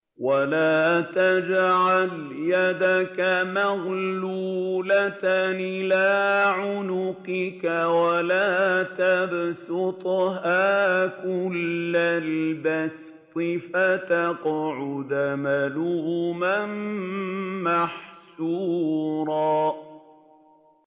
وَلَا تَجْعَلْ يَدَكَ مَغْلُولَةً إِلَىٰ عُنُقِكَ وَلَا تَبْسُطْهَا كُلَّ الْبَسْطِ فَتَقْعُدَ مَلُومًا مَّحْسُورًا